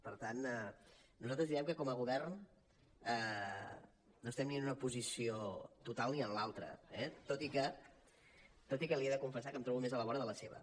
per tant nosaltres direm que com a govern no estem ni en una posició total ni en l’altra eh tot i que li he de confessar que em trobo més a la vora de la seva